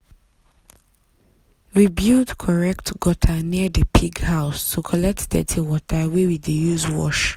we build correct gutter near the pig house to collect dirty water wey we dey use wash.